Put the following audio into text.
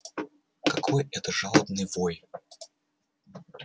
какой это жалобный вой